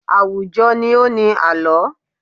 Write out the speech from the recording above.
Àwùjọ ni ó ni àlọ́.